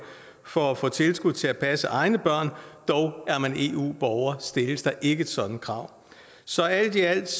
for at få tilskud til at passe egne børn dog er man eu borger stilles der ikke et sådant krav så alt i alt